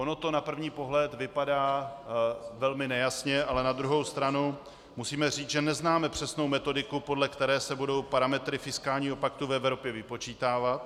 Ono to na první pohled vypadá velmi nejasně, ale na druhou stranu musíme říct, že neznáme přesnou metodiku, podle které se budou parametry fiskálního paktu v Evropě vypočítávat.